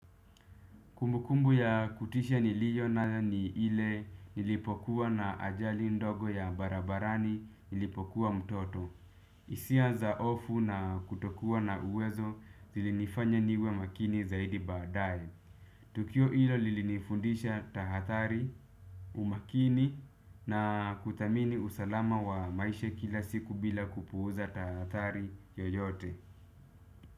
Kumbukumbu ya kutisha niliyonayo ni ile nilipokuwa na ajali ndogo ya barabarani nilipokuwa mtoto. Hisia za hofu na kutokuwa na uwezo zilinifanya niwe makini zaidi baadae. Tukio hilo lilinifundisha tahathari, umakini na kuthamini usalama wa maisha kila siku bila kupuuza tahathari yoyote.